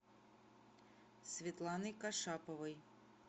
светланой кашаповой